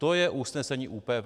To je usnesení ÚPV.